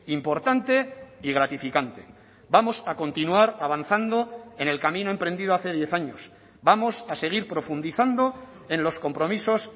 importante y gratificante vamos a continuar avanzando en el camino emprendido hace diez años vamos a seguir profundizando en los compromisos